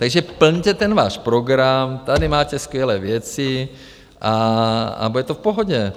Takže plňte ten váš program, tady máte skvělé věci a bude to v pohodě.